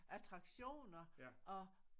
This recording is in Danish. Attraktioner og